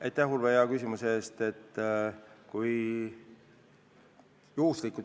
Aitäh, Urve, hea küsimuse eest!